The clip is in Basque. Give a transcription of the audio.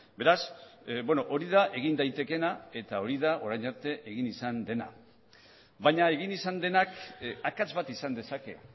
beraz hori da egin daitekeena eta hori da orain arte egin izan dena baina egin izan denak akats bat izan dezake